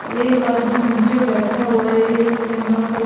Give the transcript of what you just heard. और एक आदमी नीचे बैठा हुआ है और एक यहां पर--